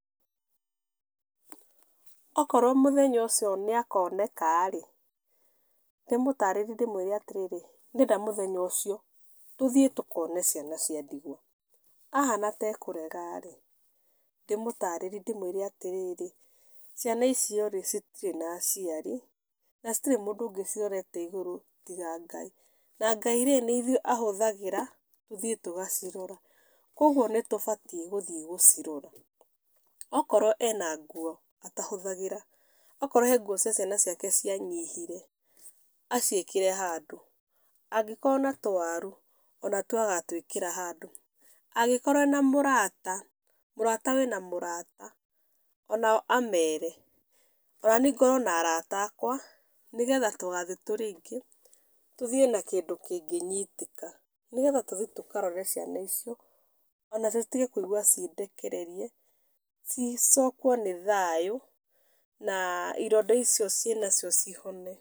Okorwo mũthenya ũcio nĩ akoneka rĩ, ndĩmũtarĩrie ndĩmwĩre atĩrĩrĩ, ndĩreda mũthenya ũcio tũthiĩ tũkone ciana cia ndigwa. Ahana ta kũrega rĩ, ndĩmũtarĩrie ndĩmwĩre atĩrĩrĩ, ciana icio rĩ, citirĩ na ciari, na citirĩ na mũndũ ũngĩ cirorete igũrũ tiga Ngai. Na Ngai rĩ, nĩ ithuĩ ahũthagĩra tũthiĩ tũgacirora. Koguo nĩ tũbatiĩ gũthiĩ gũcirora. Okorwo ena nguo atahũthagĩra, akorwo hena nguo cia ciana ciake cia nyihire, aciĩkĩre handũ, angĩkorwo na tũwaru, ona tuo agatwĩkĩra handũ, angĩkorwo ena mũrata, mũrata wĩna mũrata, onao amere, ona niĩ ngorwo na arata akwa, nigetha tũgathiĩ tũrĩ aingĩ, tuthii na kĩndũ kĩngĩnyitĩka. Nĩgetha tũthiĩ tũkarore ciana icio, onacio citige kũigua ciĩ ndekererie, cicokwo nĩ thayũ, na ironda icio ciĩ na cio cihone.